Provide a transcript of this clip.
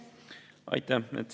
Aitäh!